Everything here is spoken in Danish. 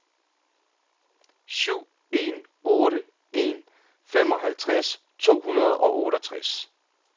syv en otte en femoghalvtreds to hundrede og otteogtres